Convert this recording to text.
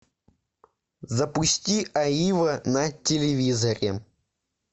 запусти аива на телевизоре